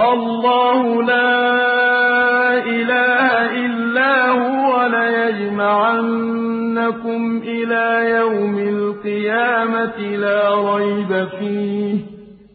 اللَّهُ لَا إِلَٰهَ إِلَّا هُوَ ۚ لَيَجْمَعَنَّكُمْ إِلَىٰ يَوْمِ الْقِيَامَةِ لَا رَيْبَ فِيهِ ۗ